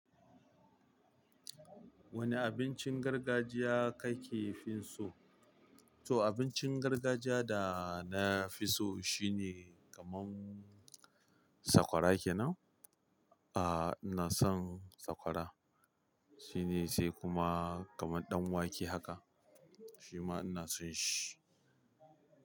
Wane abincin gargajiya kafi so? To abincin gargajiya da nafi so shine kamar sakwara kenan. Ah, ina son sakwara, shine sai kuma kamar ɗan wake haka shima ina son shi.